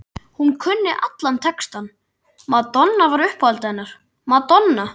Hún kunni allan textann, Madonna var uppáhaldið hennar, Madonna